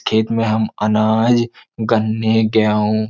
खेत में हम अनाज गन्ने गेहूं --